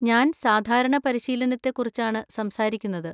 ഞാൻ സാധാരണ പരിശീലനത്തെക്കുറിച്ചാണ് സംസാരിക്കുന്നത്.